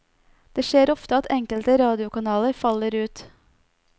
Det skjer ofte at enkelte radiokanaler faller ut.